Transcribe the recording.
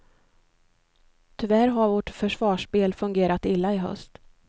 Tyvärr har vårt försvarsspel fungerat illa i höst.